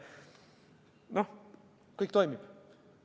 Noh, kõik toimib.